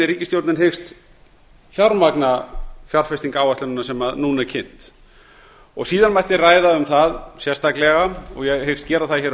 ríkisstjórnin hyggst fjármagna fjárfestingaráætlunina sem núna er kynnt síðan mætti ræða um það sérstaklega og ég hyggst gera það á